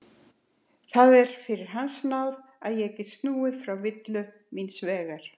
Það er fyrir hans náð að ég gat snúið frá villu míns vegar.